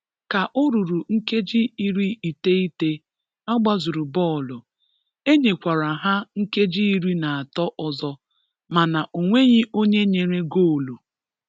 Ka o ruru nkeji iri iteghete a gbazuru bọọlụ, enyekwara ha nkeji iri na atọ ọzọ mana o nweghịi onye nyere goolu.